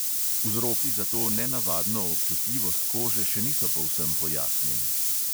Vzroki za to nenavadno občutljivost kože še niso povsem pojasnjeni.